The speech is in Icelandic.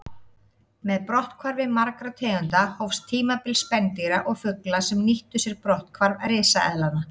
Með brotthvarfi margra tegunda hófst tímabil spendýra og fugla sem nýttu sér brotthvarf risaeðlanna.